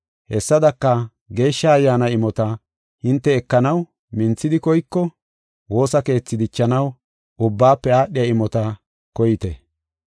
Hessadaka, Geeshsha Ayyaana imota hinte ekanaw minthidi koyko, woosa keethi dichanaw ubbaafe aadhiya imota koyite.